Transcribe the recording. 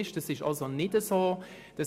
Das ist aber nicht der Fall.